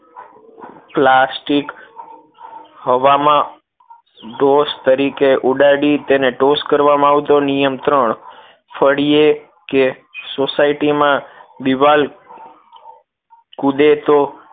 Plastic હવા માં ધોંસ તરીકે ઉડાડીને તેને toes કરવામાં આવતું નિયમ ત્રણ ફળીએ કે સોસાયટીમાં દીવાલ કૂદે તો